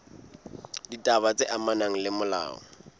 ditaba tse amanang le molao